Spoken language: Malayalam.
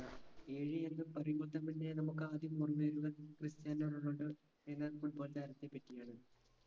ഏഴ് എന്ന് പറയുമ്പൊത്തമ്മന്നെ നമുക്ക് ആദ്യം ഓർമ വരുന്നത് ക്രിസ്റ്റ്യാനോ റൊണാൾഡോ എന്ന football താരത്തെ പറ്റിയാണ്